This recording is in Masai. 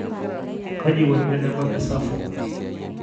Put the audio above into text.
Kaji eikoni tenebaki SAPHO.